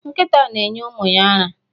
Nkịta na-enye ụmụ ya ara.